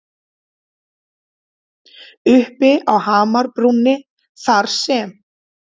Uppi á hamrabrúninni þar sem